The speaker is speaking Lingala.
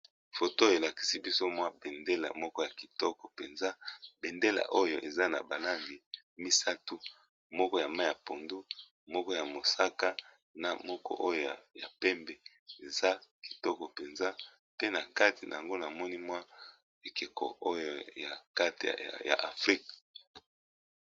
foto elakisi biso mwa bendela moko ya kitoko mpenza bendela oyo eza na balangi misato moko ya ma ya pondu moko ya mosaka na moko oyo ya pembe eza kitoko mpenza pe na kati na yango namoni mwa ekeko oyo ya kateya afrika